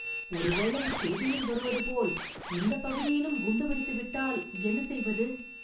ஒருவேளை செய்தியில் வருவதுபோல், இந்த பகுதியிலும் குண்டு வைத்துவிட்டால் என்ன செய்வது